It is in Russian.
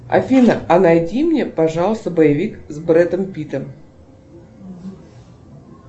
афина а найди мне пожалуйста боевик с бредом питтом